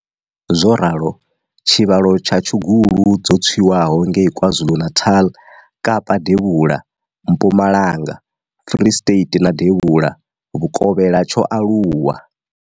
Zwo ralo, tshivhalo tsha tshugulu dzo tswiwaho ngei KwaZulu-Natal, Kapa Devhula, Mpumalanga, Free State na Devhula Vhukovhela tsho aluwa.